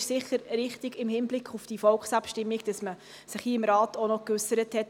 Es ist sicher richtig im Hinblick auf die Volksabstimmung, dass man sich hier im Rat auch noch geäussert hat.